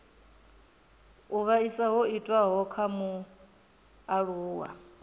u vhaisa ho itiwaho kha mualuwa